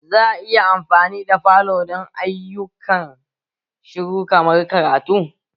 Za a iya amfani da falo don ayyukan shiru kamar karatu?